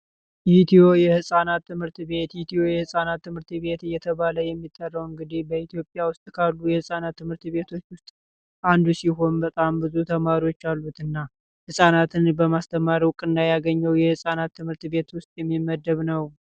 ኢትዮ የህፃናት ትምህርት ቤት ኢትዮ የህጻናት ትምህርት ቤት እየተባለ የሚጠራው እንግዲህ በኢትዮጵያ ውስጥ ካሉ የህፃናት ትምህርት ቤት ውስጥ አንዱ ሲሆን በጣም ብዙ ተማሪዎች ያሉትና ህጻናትን በማስተማር እውቅና ያገኘው ይህ የህጻናት ትምህርት ቤት ውስጥ የሚመደብ ነው።